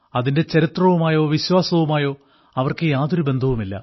അതിന്റെ ചരിത്രവുമായോ വിശ്വാസവുമായോ അവർക്ക് യാതൊരു ബന്ധവുമില്ല